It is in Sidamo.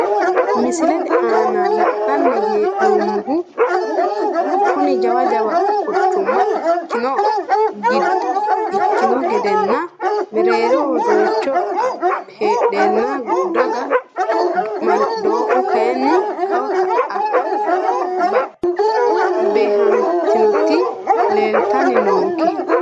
Misilete aana la`nani heenomohu kuni jawa jawa quchuma ikino gedenna mereerohu dooyicho heedhena dooga kayini kawa ka`a beehantinoti leelitani noonke.